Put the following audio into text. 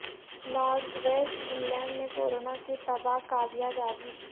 north west England میں corona کی تباہ کاریاں جاری